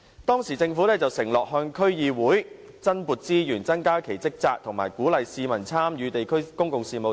當時政府承諾向區議會增撥資源、增加其職責，以鼓勵市民參與地區公共事務。